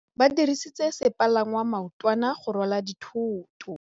Ba dirisitse sepalangwasa maotwana go rwala dithôtô.